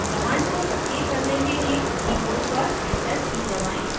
command को सक्रिय करने के लिए keyboard पर enter की दबाएं